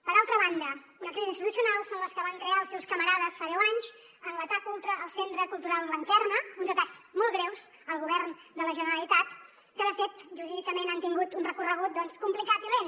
per altra banda una crisi institucional és la que van crear els seus camarades fa deu anys en l’atac ultra al centre cultural blanquerna uns atacs molt greus al govern de la generalitat que de fet jurídicament han tingut un recorregut complicat i lent